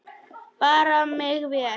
Bera mig vel?